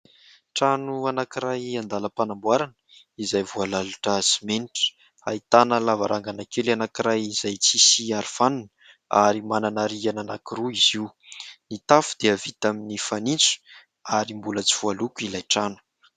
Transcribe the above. Trano anankiray an-dalam-panamboarana izay voalalotra simenitra ; ahitana lavarangana kely anankiray izay tsy misy arofanina ary manana rihana anankiroa izy io. Ny tafo dia vita amin'ny fanitso ary mbola tsy voaloko ilay trano.